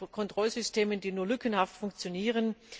mit Kontrollsystemen, die nur lückenhaft funktionieren.